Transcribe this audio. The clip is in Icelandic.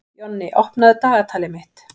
Jonni, opnaðu dagatalið mitt.